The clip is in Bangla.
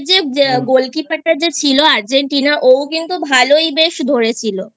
যে Goalkeeper টা যে ছিল Argentina ও কিন্তু ভালোই বেশ ধরেছিল